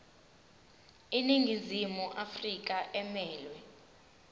iningizimu afrika emelwe